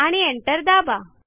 आणि एंटर दाबा